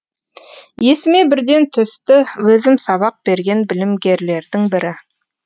есіме бірден түсті өзім сабақ берген білімгерлердің бірі